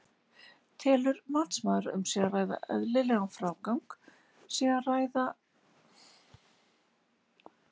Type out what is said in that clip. Telur matsmaður að um eðlilegan frágang sé að ræða á aðrein milli inngangs og bílskúra?